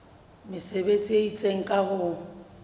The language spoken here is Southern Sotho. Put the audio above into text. mesebetsi e itseng ka ho